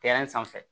sanfɛ